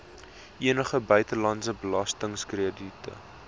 enige buitelandse belastingkrediete